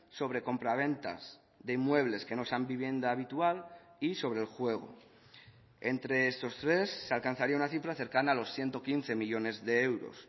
sobre compraventas de inmuebles que no sean vivienda habitual y sobre el juego entre estos tres se alcanzaría una cifra cercana a los ciento quince millónes de euros